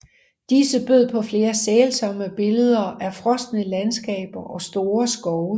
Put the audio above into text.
Disse bød på flere sælsomme billeder af frosne landskaber og store skove